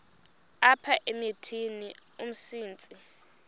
apha emithini umsintsi